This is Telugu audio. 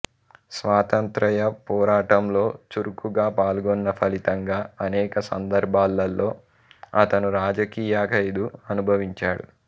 స్వాతంత్ర్య పోరాటంలో చురుకుగా పాల్గొన్న ఫలితంగా అనేక సందర్భాల్లో అతను రాజకీయ ఖైదు అనుభవించాడు